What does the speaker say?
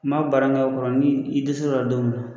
N man kɔrɔ ni i dɛsɛra o la don min na.